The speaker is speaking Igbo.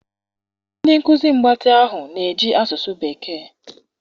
ndị nkuzi mgbatị ahụ na-eji asụsụ bekee.